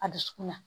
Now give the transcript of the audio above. A dusukun na